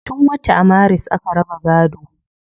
Tun wata maris aka raba gaado